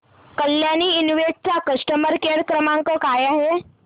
Kalyani invest चा customer care क्रमांक काय आहे